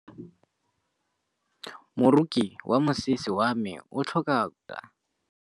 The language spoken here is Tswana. Moroki wa mosese wa me o tlhoka koketsô ya lesela.